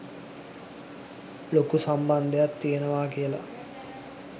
ලොකු සම්බන්ධයක් තියෙනවා.කියල.